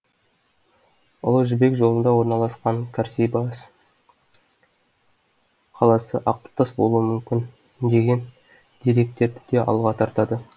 ұлы жібек жолында орналасқан касрибас қаласы ақыртас болуы мүмкін деген деректерді де алға тартады